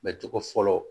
Mɛ cogo fɔlɔ